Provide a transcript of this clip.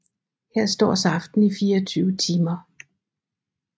Her står saften i 24 timer